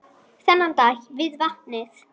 Þennan dag við vatnið.